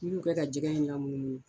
N'i y'u kɛ ka jɛgɛ in lamunumunu